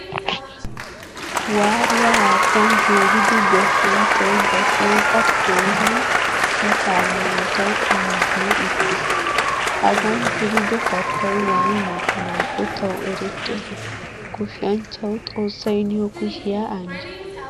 Waruwaa haattan zeeridi goshshanchchay ba shooqqa keehin katta muruttawu injjeyi uttiis. Hagaan zerido kattay wani mokkanako tawu erettees. Goshshanchchawu xoossay niyo kushiya anjjo.